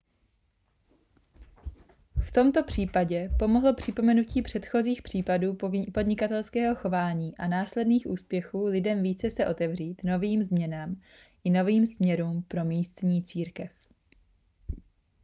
v tomto případě pomohlo připomenutí předchozích případů podnikatelského chování a následných úspěchů lidem více se otevřít novým změnám i novým směrům pro místní církev